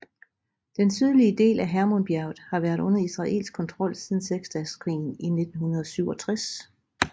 Den sydlige del af Hermonbjerget har været under israelsk kontrol siden Seksdageskrigen i 1967